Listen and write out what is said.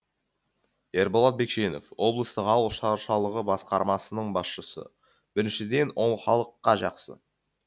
ерболат бекшенов облыстық ауыл шаршалығы басқармасының басшысы біріншіден ол халыққа жақсы